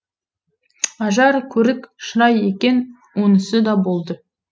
ажар көрік шырай екен онысы да болды